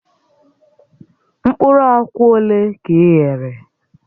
Mkpụrụ akwa ole ka i ghere?